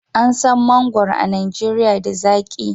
An san mangwaro a Najeriya da zaki